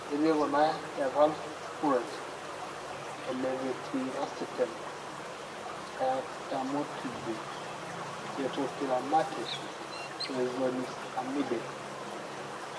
Ketii kuna evalproate, elevetiracetam, elamotrigine, etopiramate o ezonisamide.